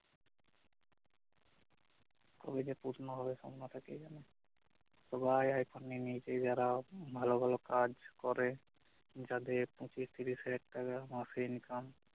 কবে যে পূর্ণ হবে সপ্ন টা কে জানে সবাই আইফোন নিয়ে নিয়েছে যারা ভাল ভাল কাজ করে যাদের পঁচিশ তিরিশ হাজার টাকা মাসে income